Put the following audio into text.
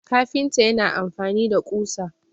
kafinta yana amfani da kusa